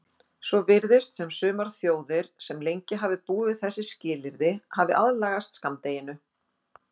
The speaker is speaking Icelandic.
Svo virðist sem sumar þjóðir sem lengi hafa búið við þessi skilyrði hafi aðlagast skammdeginu.